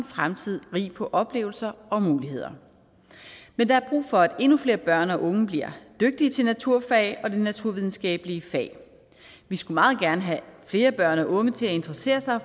fremtid rig på oplevelser og muligheder men der er brug for at endnu flere børn og unge bliver dygtige til naturfag og de naturvidenskabelige fag vi skulle meget gerne have flere børn og unge til at interessere sig